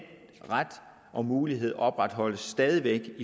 ret og mulighed opretholdes stadig væk